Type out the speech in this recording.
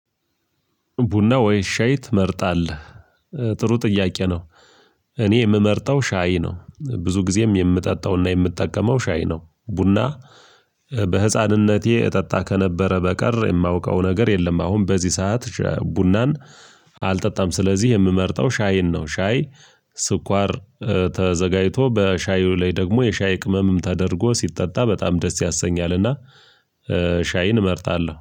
ቡና ወይ ሻይ ትመርጣለህ? ጥሩ ጥያቄ ነው። እኔ የምመርጠው ሻይ ነው ብዙ ጊዜም የምጠጣውና የምጠቀመው ሻይ ነው። ቡና በህፃንነቴ እጠጣ ከነበረ በቀር የማውቀው ነገር የለም። አሁን በዚህ ሰዓት ቡናን አልጠጣም ስለዚህ የምመርጠው ሻይን ነው። ሻይ ስኳር ተዘጋጅቶ በሻዩ ላይ ደግሞ የሻይ ቅመምም ተደርጎ ሲጠጣ በጣም ደስ ያሰኛልና ሻይን እመርጣለሁ